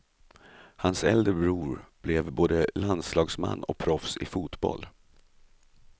Hans äldre bror blev både landslagsman och proffs i fotboll.